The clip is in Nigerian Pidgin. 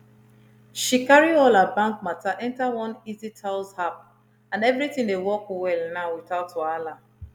she carry all her bank matter enter one easytouse app and everything dey work well now without wahala